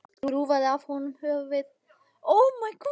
Eva skrúfaði af honum höfuðið ef hún kæmist að því.